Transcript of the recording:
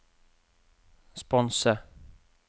sponse